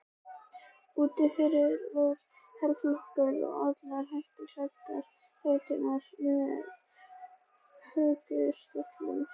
Úti fyrir var herflokkur og allir hettuklæddir, hetturnar með hökustöllum.